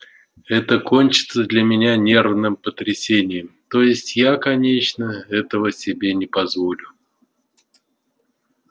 это кончится для меня нервным потрясением то есть я конечно этого себе не позволю